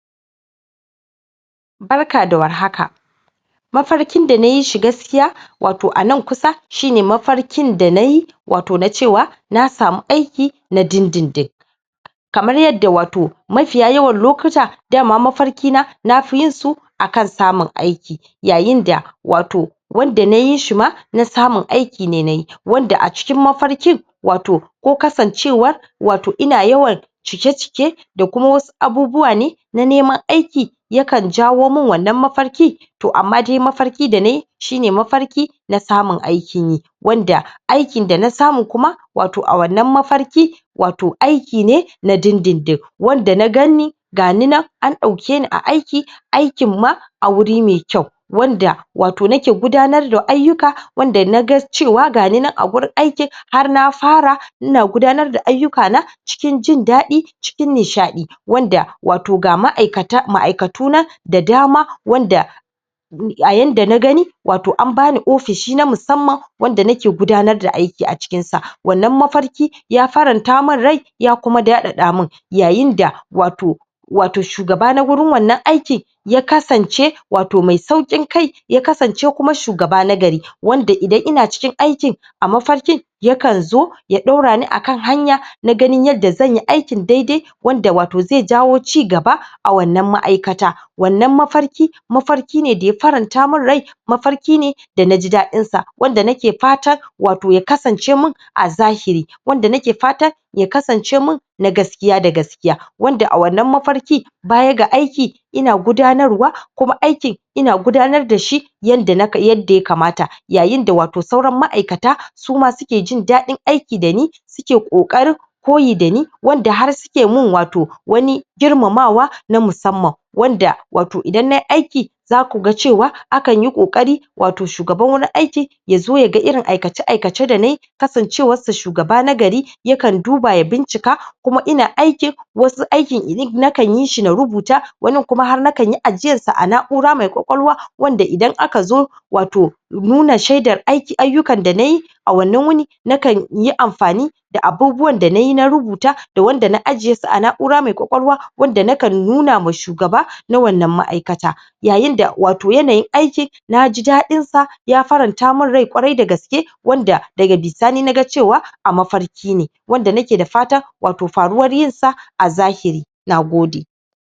Barka da warhaka, mafarkin dana yishi gaskiya wato anan kusa, hine mafarkin danayi wato na cewa na samu aiki na dindindin, kamar yadda wato mafiya yawan lokuta dama mafarkina nafi yinsu akan samun aiki, yayin da wato wanda nayi shima na samon aiki ne nayi, wanda a cikin mafarkin ko kasan cewa ,wato ina yawan cike- cike kuma wasu abubuwan ne na Neman aiki ne kan jawomin wannan mafariki, amma dai mafarki danayi shine na samon aikinyi, wanda aikin dana samu kuma wato a wannan mafarki wato aiki ne na dindindin, wanda na ganni gani nan an dauke ni a aiki, aikin ma a guri me kyau wanda wato nake gudanar da ayyuka, wanda naga cewa gani nan a gurin aiki har na fara ina gudanar da ayyukana cikin jindaɗi, cikin nishaɗi, wanda ga maʼaikata ,maʼmaʼaikatu da dama wanda a yadda nagani wato an bani ofishi na misamman da nake gudanar da aiki a cikin shi ,wanda mafarkin ya faranta min rai ya kuma daɗaɗamin yayin da wato wato shugaba na gurin wannan aiki ya kasan ce wato me sauƙin kai ,ya kasance kuma shugaba nagari ,wanda idan ina cikin aikin a mafarkin yakan zo ya daura ni akan hanya na ganin yanda zanyi daidai da wato ze jawo cigaba a wannan maʼmaʼaikata, wannan mafarkin ,mafarkina daya faran ta mini rai mafarkin ne dana ji daɗinsa, wanda nake fatan wato ya kasance min na gaskiya, wanda a wannan mafarki bayan ga aiki ina gudanarwa, kuma aikin ina gudanar da shi yadda ya kamata, yayin da sauran maʼaikata suma suke jin daɗin aiki dani suke ƙoƙarin koyi dani wanda had suke min wato wani girmamawa na musamman wanda wato idan nayi za kuga cewa ƙoƙari wato shugaban gurin aikin ya zo yaga irin aikace-aikacen da nayi, kasan cewarsa shugaba na gari yakan duba ya bincika, ina aikin wasu inyi ,nakan yishi na rubuta, wani kuma nakanyi ajiyar sa a naʼnaʼura me kwakwalwa yanda idan aka zo wato nuna shedar ayyukan da nayi wannan wuni nakanyi amfani da abubuwan da nayi na rubuta da wanda na ajiyesu a naʼura me kwakwalwa wanda nakan nuna wa shugaba na wannan maikata, yayin da wato yana yin aikin naji daɗinsa ya faranta min rai kwarai da gaske wanda daga bisani naga cewa a mafarkine, wanda nake da fatan wato faruwar yinsa a zahiri, Nagode.